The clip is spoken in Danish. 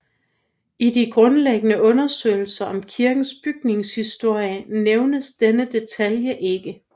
I de grundlæggende undersøgelser om kirkens bygningshistorie nævnes denne detalje ikke